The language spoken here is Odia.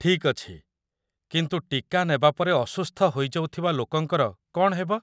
ଠିକ୍ ଅଛି, କିନ୍ତୁ ଟୀକା ନେବା ପରେ ଅସୁସ୍ଥ ହୋଇଯାଉଥିବା ଲୋକଙ୍କର କ'ଣ ହେବ?